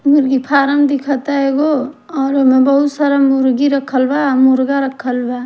मुर्गी फारम दिखता एगो और ओह में बहुत सारा मुर्गी रखल बा और मुर्गा रखल बा --